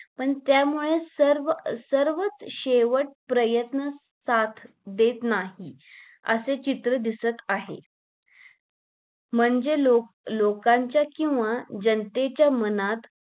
पण त्यामुळे सर्व सर्वच शेवट प्रयत्न साथ देत नाहीत असे चित्र दिसत आहे म्हणजे लोक लोकांच्या किंवा जनतेच्या मनात